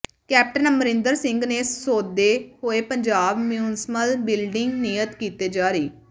captain Amarinder Singh ਨੇ ਸੋਧੇ ਹੋਏ ਪੰਜਾਬ ਮਿਉਂਸਪਲ ਬਿਲਡਿੰਗ ਨਿਯਮ ਕੀਤੇ ਜਾਰੀ